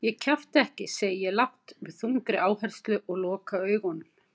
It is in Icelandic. Ég kjafta ekki, segi ég lágt með þungri áherslu og loka augunum.